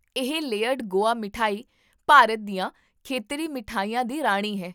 ਇਹ ਲੇਅਰਡ ਗੋਆ ਮਠਿਆਈ ਭਾਰਤ ਦੀਆਂ ਖੇਤਰੀ ਮਿਠਾਈਆਂ ਦੀ ਰਾਣੀ ਹੈ